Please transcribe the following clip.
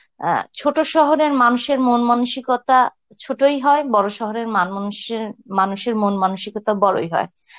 অ্যাঁ ছোট শহরের মানুষের মন মানসিকতা ছোটই হয় বড় শহরের মান~ মানুষের, মানুষের মন মানসিকতা বড়ই হয়.